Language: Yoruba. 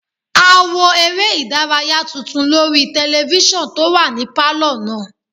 A wo eré ìdárayá tuntun lórí tẹlifísàn tó wà ní pálọ̀ náà